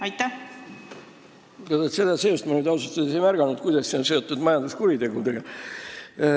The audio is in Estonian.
Ma ausalt öeldes ei märganud siin seost majanduskuritegudega.